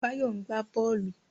Báyọ̀ ń gbá bọ́ọ̀lù